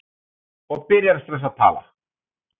Sjaldgæft að sólbrenna í október